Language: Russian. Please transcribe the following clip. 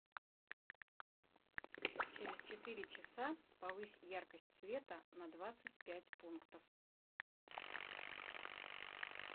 через четыре часа повысь яркость света на двадцать пять пунктов